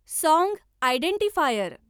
song identifier